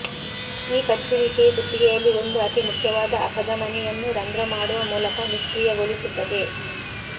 ಈ ಕಚ್ಚುವಿಕೆಯು ಕುತ್ತಿಗೆಯಲ್ಲಿ ಒಂದು ಅತಿ ಮುಖ್ಯವಾದ ಅಪಧಮನಿ ಯನ್ನು ರಂಧ್ರ ಮಾಡುವ ಮೂಲಕ ನಿಷ್ಕ್ರಿಯಗೊಳಿಸುತ್ತದೆ